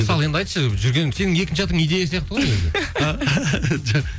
мысалы енді айтшы жүрген сенің екінші атың идея сияқты ғой өзі